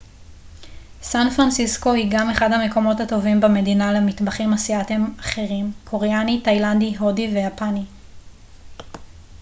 סן פרנסיסקו היא גם אחד המקומות הטובים במדינה למטבחים אסייתיים אחרים קוריאני תאילנדי הודי ויפני